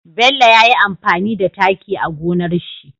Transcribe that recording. Bello yayi amfani da taki a gonar shi